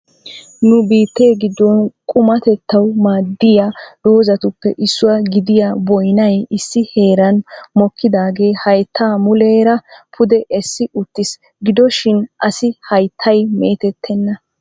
nu biittee giddon qumatettaw maaddiya doozatuppe issuwa gidiyaa boynnay issi heeran mokkidaage haytta muleera pude essi uttiis. gidoshin assi hayttay meetettena.